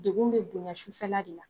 Degun bɛ bonya sufɛla de la